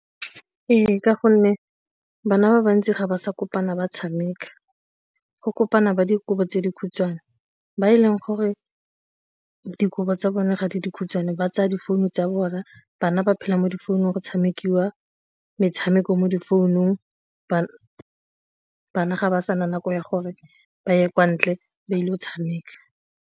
Ee, ka gonne bana ba bantsi ga ba sa kopana ba tshameka, go kopana ba dikobo tse dikhutshwane. Ba e leng gore dikobo tsa bone ga di dikhutshwane ba tsa difounu tsa bona, bana ba phela mo difounung go tshamekiwa metshameko mo difounung bana ga ba sa nako ya gore ba ye kwa ntle ba ile go tshameka.